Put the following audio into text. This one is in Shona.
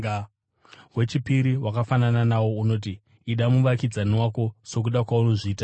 Wechipiri wakafanana nawo unoti, ‘Ida muvakidzani wako sokuda kwaunozviita iwe.’